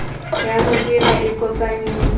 ya ho hira ikopanyeng le